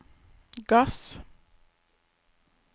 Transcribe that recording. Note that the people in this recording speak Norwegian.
gass